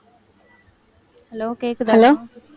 hello கேக்குதா?